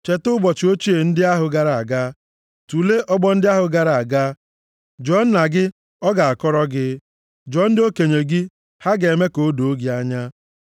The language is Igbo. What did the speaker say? Cheta ụbọchị ochie ndị ahụ gara aga, tulee ọgbọ ndị ahụ gara aga jụọ nna gị, ọ ga-akọrọ gị. Jụọ ndị okenye gị, ha ga-eme ka o doo gị anya.